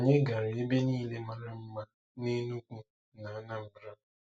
Onye gara ebe niile mara mma n'Enugu na Anambra?